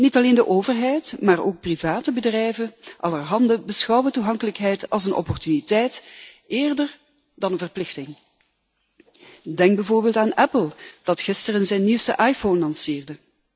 Niet alleen de overheid maar ook private bedrijven allerhande beschouwen toegankelijkheid als een opportuniteit eerder dan een verplichting. Ik denk bijvoorbeeld aan Apple, dat gisteren zijn nieuwste iPhone lanceerde.